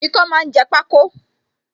Ikán máa ń jẹ pako